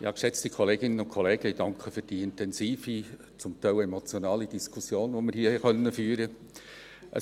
Ich danke für die intensive, zum Teil emotionale Diskussion, die wir hier führen durften.